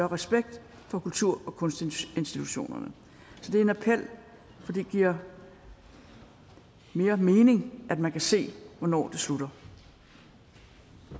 respekt for kultur og kunstinstitutionerne så det er en appel for det giver mere mening at man kan se hvornår det slutter